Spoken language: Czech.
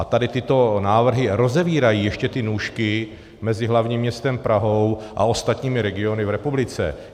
A tady tyto návrhy rozevírají ještě ty nůžky mezi hlavním městem Prahou a ostatními regiony v republice.